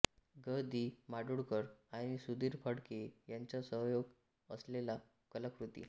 ग दि माडगूळकर आणि सुधीर फडके यांचा सहयोग असलेल्या कलाकृती